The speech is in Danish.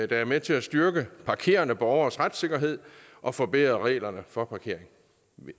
der er med til at styrke parkerende borgeres retssikkerhed og forbedre reglerne for parkering